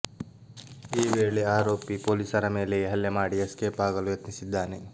ಈ ವೇಳೆ ಆರೋಪಿ ಪೊಲೀಸರ ಮೇಲೆಯೇ ಹಲ್ಲೆ ಮಾಡಿ ಎಸ್ಕೇಪ್ ಆಗಲು ಯತ್ನಿಸಿದ್ದಾನೆ